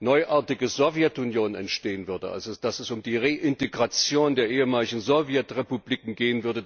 neuartige Sowjetunion entstehen würde, also dass es um die Reintegration der ehemaligen Sowjetrepubliken gehen würde,